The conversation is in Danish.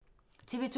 TV 2